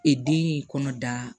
E den ye kɔnɔ da